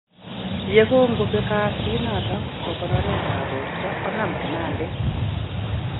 Ye kongo bek kasit noton bo konoret ab borto konam kinandet